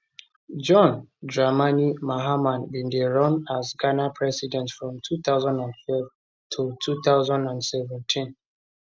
john dramani mahama bin dey dey run as ghana president from 2012 to 2017